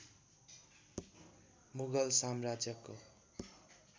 मुग़ल साम्राज्यको